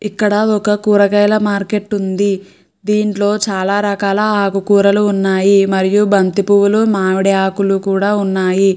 ఇక్కడ ఒక కూరగాయల మార్కెట్ ఉంది దీంట్లో చాలా రకాల ఆకుకూరలు ఉన్నాయి మరియు బంతి పువ్వులు మామిడి ఆకులు కూడా ఉన్నాయి.